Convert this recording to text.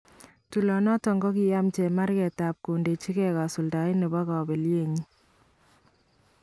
Tool inoton kokayiim chemarkeet ak kondechikee kasuldaet nebo kablenyin